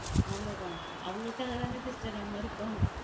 அவ்வளவுதான் அவங்களுக்காக தானே sister நம்ம இருக்கோம்.